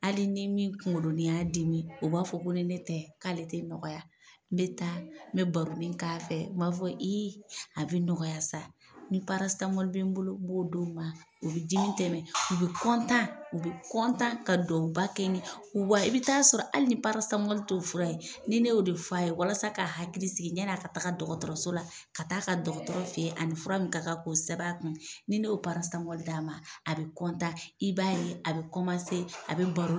Hali ni min kuŋolonin y'a dimi o b'a fɔ ko ni ne tɛ k'ale tɛ nɔgɔya. N bɛ taa, n bɛ baronin k'a fɛ, n b'a fɔ ii a bɛ nɔgɔya sa. Ni bɛ n bolo, n b'o d'o ma. O be dimi tɛmɛ , u be , u be ka duwawuba kɛ ne wa i bi taa sɔrɔ hali ni t'o fura ye, ni ne y'o de f'a ye walasa k'a hakili sigi ɲɛn'a ka taga dɔgɔtɔrɔso la ka taa'a ka dɔgɔtɔrɔ fe ye a ni fura min ka kan k'o sɛb'a kun, ni ne y'o d'a ma, a bɛ , i b'a ye a bɛ a bɛ baro